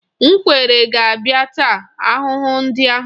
Ngwere ga-abịa taa ahụhụ ndị ahụ.